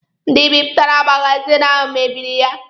Ndị bipụtara magazini ahụ mebiri ya